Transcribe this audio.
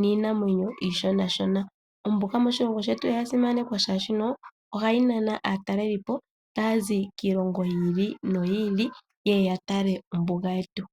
niinamwenyo ishonashona. Ombuga moshilongo shetu oyasimanekwa shaashi no ohayi nana aatalelipo taazi kiilongo yi ili noyi ili yeye yatale ombuga yetu.